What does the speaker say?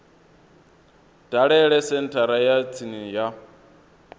dalele senthara ya tsini ya